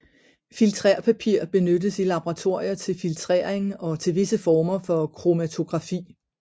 Filtrerpapir benyttes i laboratorier til filtrering og til visse former for kromatografi